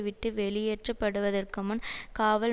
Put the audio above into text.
விட்டு வெளியேற்றப்படுவதற்கு முன் காவல்